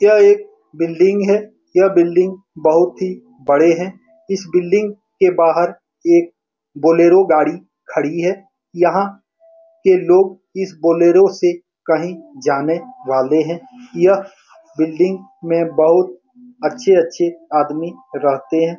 यह एक बिल्डिंग है यह बिल्डिंग बहुत ही बड़े है इस बिल्डिंग के बाहर एक बोलेरो गाड़ी खड़ी है यहाँ के लोग इस बोलेरो से कहीं जाने वाले है यह बिल्डिंग में बहुत अच्छे-अच्छे आदमी रहते हैं ।